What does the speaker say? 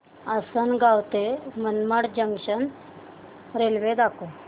आसंनगाव ते Manmad junction railway दाखव